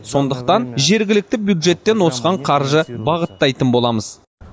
сондықтан жергілікті бюджеттен осыған қаржы бағыттайтын боламыз